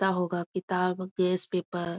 मिलता होगा किताब गैस पेपर ।